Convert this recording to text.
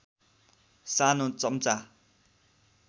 सानो चम्चा